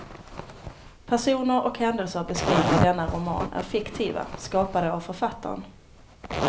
Personer och händelser beskrivna i denna roman är fiktiva, skapade av författaren.